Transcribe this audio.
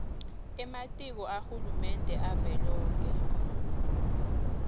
ematiko ahulumende avelonkhe